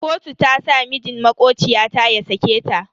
Kotu ta sa mijin makociya ta ya sake ta.